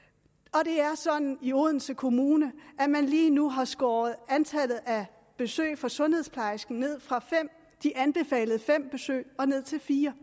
og det er sådan i odense kommune at man lige nu har skåret antallet af besøg fra sundhedsplejersken ned fra de anbefalede fem besøg til fire